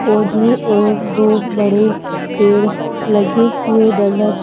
पौधे और दो बड़े पेड़ लगे हुए नजर--